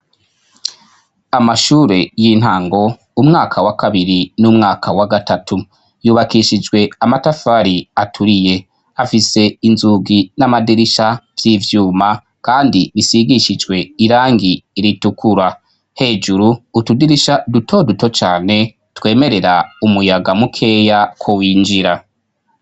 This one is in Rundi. Amashure y'intango ,umwaka wa kabiri n'umwaka wa gatatu, yubakishijwe amatafari aturiye, afise inzugi n'amadirisha vy'ivyuma kandi bisigishijwe irangi iritukura, hejuru utudirisha duto duto cane twemerera umuyaga mukeya ku winjira